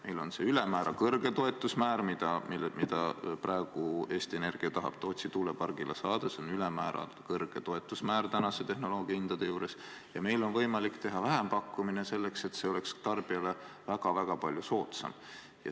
Meil on see ülemäära kõrge toetusmäär, mida praegu Eesti Energia tahab Tootsi tuulepargile saada – see on ülemäära kõrge toetusmäär tänaste tehnoloogiahindade juures –, ja meil on võimalik teha vähempakkumine selleks, et see oleks tarbijale väga-väga palju soodsam.